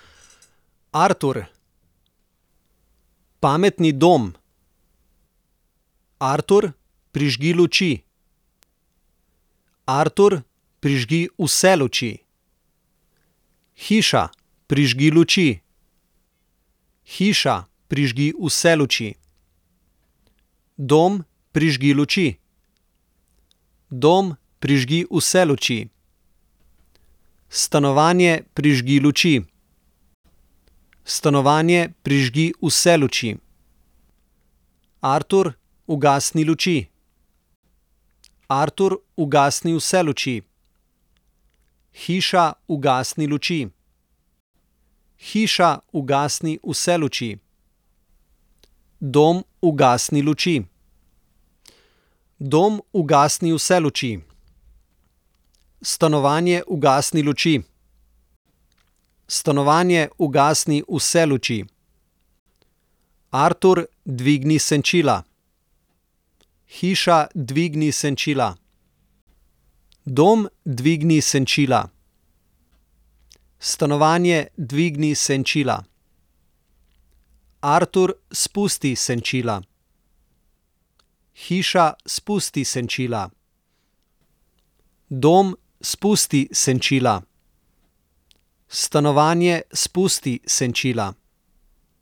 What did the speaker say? Artur. Pametni dom. Artur, prižgi luči. Artur, prižgi vse luči. Hiša, prižgi luči. Hiša, prižgi vse luči. Dom, prižgi luči. Dom, prižgi vse luči. Stanovanje, prižgi luči. Stanovanje, prižgi vse luči. Artur, ugasni luči. Artur, ugasni vse luči. Hiša, ugasni luči. Hiša, ugasni vse luči. Dom, ugasni luči. Dom, ugasni vse luči. Stanovanje, ugasni luči. Stanovanje, ugasni vse luči. Artur, dvigni senčila. Hiša, dvigni senčila. Dom, dvigni senčila. Stanovanje, dvigni senčila. Artur, spusti senčila. Hiša, spusti senčila. Dom, spusti senčila. Stanovanje, spusti senčila.